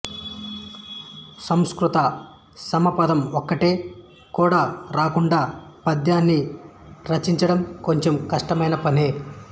సంస్కృత సమపదం ఒక్కటి కూడా రాకుండా పద్యాన్ని రచించడం కొంచెం కష్టమైన పనే